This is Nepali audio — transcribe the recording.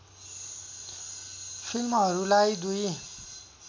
फिल्महरूलाई दुई